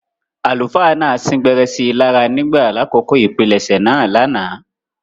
Àlùfáà náà sin-gbẹrẹ si lára ​​nígbà lakoko ipilẹsẹ̌ naa lánàá.